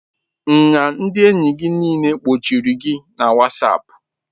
Nya ndị enyi gị niile gbochiri gị na whatsapp?